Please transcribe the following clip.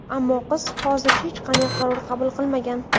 Ammo qiz hozircha hech qanday qaror qabul qilmagan.